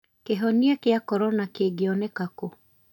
Kĩhonia kĩa corona kĨngĩoneka kũ?